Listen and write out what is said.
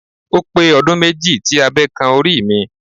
Ó pé ọdún méjì tí abe kan orí mi.